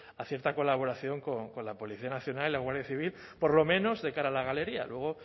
a cierta colaboración con la policía nacional y la guardia civil por lo menos de cara a la galería luego